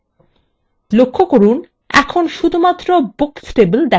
লক্ষ্য করুন এখন শুধুমাত্র books table দেখা যাচ্ছে